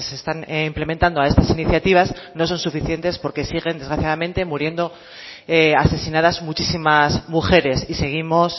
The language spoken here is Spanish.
están implementando a estas iniciativas no son suficientes porque siguen desgraciadamente muriendo asesinadas muchísimas mujeres y seguimos